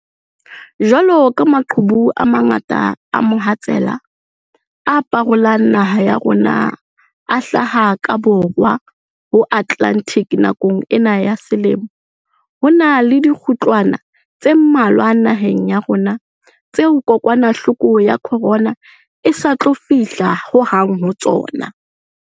Jwalo ka maqhubu a mangata a mohatsela a parolang naha ya rona a hlaha ka Borwa ho Atlantic nakong ena ya selemo, ho na le dikgutlwana tse mmalwa naheng ya rona tseo kokwanahloko ya corona e sa tlo fihla ho hang ho tsona.